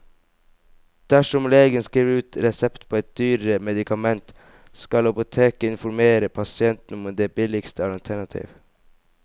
Dersom legen skriver ut resept på et dyrere medikament, skal apoteket informere pasienten om det billigste alternativ.